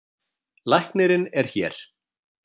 Læknirinn er hér.